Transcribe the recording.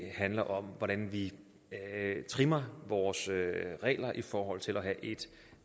handler om hvordan vi trimmer vores regler i forhold til at have et